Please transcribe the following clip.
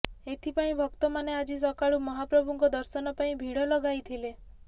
ଏଥିପାଇଁ ଭକ୍ତମାନେ ଆଜି ସକାଳୁ ମହାପ୍ରଭୁଙ୍କ ଦର୍ଶନ ପାଇଁ ଭିଡ଼ ଲଗାଇଥିଲେ